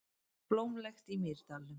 Blómlegt í Mýrdalnum